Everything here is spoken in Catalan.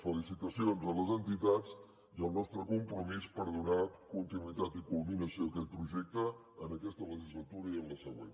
felicitacions a les entitats i el nostre compromís per donar continuïtat i culminació a aquest projecte en aquesta legislatura i en la següent